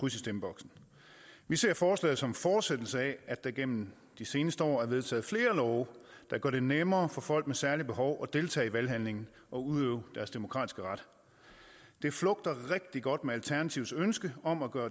i stemmeboksen vi ser forslaget som en fortsættelse af at der igennem de seneste år er vedtaget flere love der gør det nemmere for folk med særlige behov at deltage i valghandlingen og udøve deres demokratiske ret det flugter rigtig godt med alternativets ønske om at gøre